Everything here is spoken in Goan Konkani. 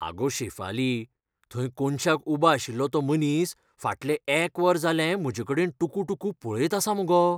आगो शेफाली, थंय कोनशाक उबो आशिल्लो तो मनीस फाटलें एक वर जालें म्हजेकडेन टुकुटुकू पळयत आसा मगो.